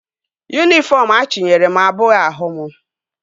Yunifọm achinyere m abụghị ahụ m